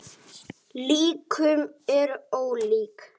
Líkönin eru ólík.